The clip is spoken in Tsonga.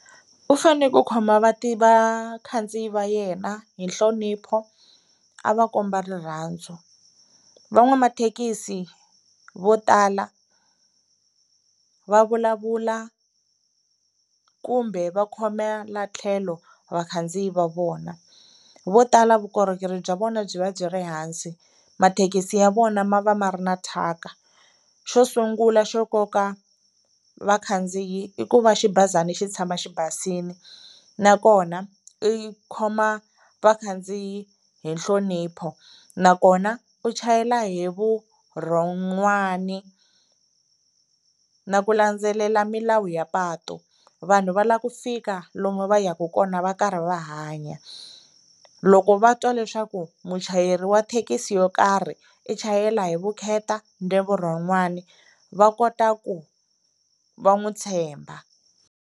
U fane ku khoma vakhandziyi va yena hi nhlonipho, a va komba rirhandzu. Van'wamathekisi vo tala va vulavula kumbe va khomela tlhelo vakhandziyi va vona, vo tala vukorhokeri bya vona byi va byi ri hansi, mathekisi ya vona ma va ma ri na thyaka. Xo sungula xo koka vakhandziyi i ku va xibazana xi tshama xi basile, nakona i khoma vakhandziyi hi nhlonipho nakona u chayela hi vurhon'wana na ku landzelela milawu ya patu, vanhu va la ku fika lomu va yaka kona va karhi va hanya. Loko va twa leswaku muchayeri wa thekisi yo karhi i chayela hi vukheta na vurhon'wana va kota ku va n'wi tshemba.